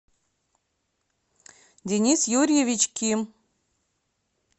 денис юрьевич ким